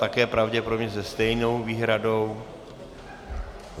Také pravděpodobně se stejnou výhradou.